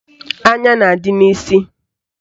Anya na-adị n'isi